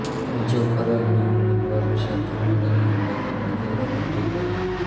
મુઝફ્ફરે અન્ય ઉમરાવો સાથે મળીને અમદાવાદની ઘેરાબંધી કરી